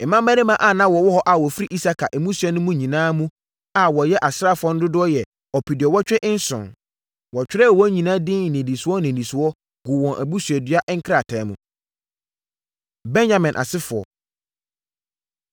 Mmarima a na wɔwɔ hɔ a wɔfiri Isakar mmusua no nyinaa mu a wɔyɛ asraafoɔ no dodoɔ yɛ ɔpeduɔwɔtwe nson (87,000). Wɔtwerɛɛ wɔn nyinaa din nnidisoɔ nnidisoɔ guu wɔn abusuadua krataa mu. Benyamin Asefoɔ